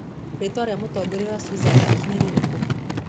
Rĩĩtwa rĩa mũtongoria wa Switzerland nĩ rĩrĩkũ?